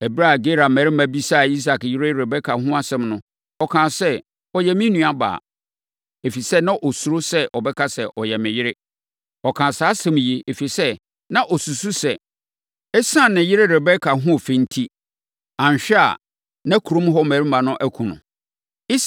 Ɛberɛ a Gerar mmarima bisaa Isak yere Rebeka ho asɛm no, ɔkaa sɛ, “Ɔyɛ me nuabaa.” Ɛfiri sɛ, na ɔsuro sɛ ɔbɛka sɛ, “Ɔyɛ me yere.” Ɔkaa saa asɛm yi, ɛfiri sɛ, na ɔsusu sɛ, ɛsiane ne yere Rebeka ahoɔfɛ enti, anhwɛ a, na kurom hɔ mmarima akum no.